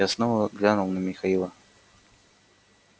я снова глянул на михаила